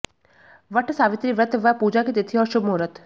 what Savitri व्रत व पूजा की तिथि और शुभ मुहूर्त